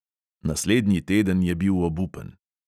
Naslednji teden je bil obupen.